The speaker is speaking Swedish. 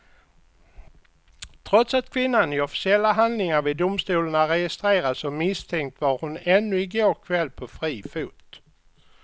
Trots att kvinnan i officiella handlingar vid domstol är registrerad som misstänkt var hon ännu i går kväll på fri fot.